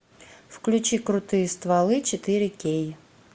включи крутые стволы четыре кей